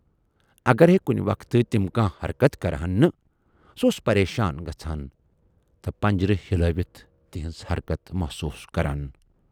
اگر ہے کُنہِ وقتہٕ تِم کانہہ حرکتھ کرٕہن نہٕ، سُہ اوس پریشان گژھان تہٕ پِنجرٕ ہِلٲوِتھ تِہٕنز حرکتھ محسوٗس کران۔